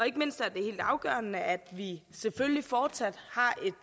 ikke mindst er det helt afgørende at vi selvfølgelig fortsat